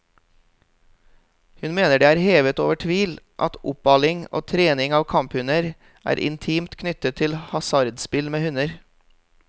Hun mener det er hevet over tvil at oppaling og trening av kamphunder er intimt knyttet til hasardspill med hunder.